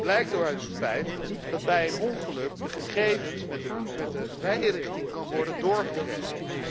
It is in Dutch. Dat blijkt ook uit het feit dat bij een ongeluk de gegevens met de rijrichting kunnen worden doorgegeven.